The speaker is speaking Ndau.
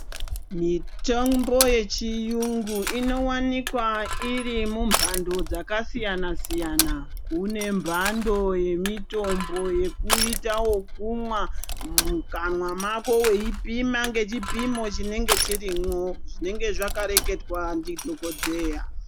Mitombo yechiyungu inowanikwa iri mumbando dzasiyana siyana, kune mbando yemitombo yekuita wokumwa mukanwa mako weipima ngechipimo chinenge chirimwo, zvinenge zvakareketwa ndidhokodheya.